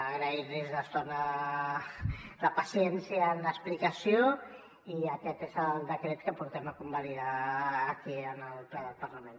agrair los la paciència en l’explicació i aquest és el decret que portem a convalidar aquí en el ple del parlament